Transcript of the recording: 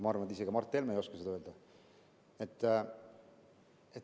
Ma arvan, et isegi Mart Helme ei oska seda öelda.